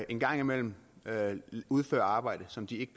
en gang imellem udfører arbejde som de ikke